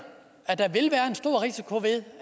at der vil være en stor risiko ved